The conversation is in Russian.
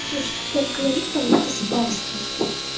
слушай ты так говоришь как будто спал с ней